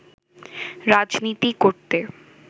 রাজনীতি করতে